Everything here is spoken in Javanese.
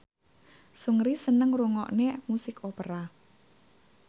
Seungri seneng ngrungokne musik opera